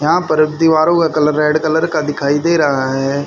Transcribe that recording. यहां पर दिवारों का कलर रेड कलर का दिखाई दे रहा है।